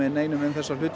neinum um þetta